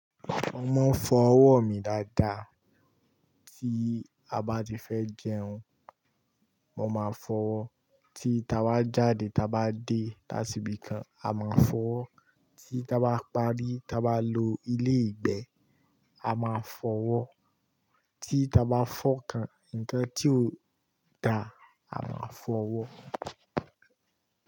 Mo máa ń fọ ọwọ́ mi dáadáa. Tí a bá ti fẹ́ jẹun, mo máa fọ́ wọ. Tí ta bá jáde ta bá dé lásìbí kan, a máa fọ́ wọ. Tí ta bá parí, ta bá lo ilé ìgbé, a máa fọ́ owo Tí ta bá fọ́kàn, ǹkan tí ò dáa, a máa fọ́ wọ́.